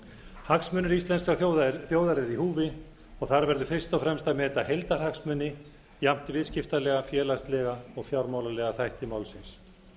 hagsmunir íslenskrar þjóðar eru í húfi og þar verður fyrst og fremst að meta heildarhagsmuni jafnt viðskiptalega félagslega og fjármálalega þætti málsins